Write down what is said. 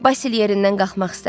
Basil yerindən qalxmaq istədi.